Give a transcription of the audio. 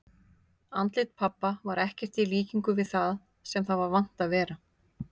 Andlit pabba var ekkert í líkingu við það sem það var vant að vera.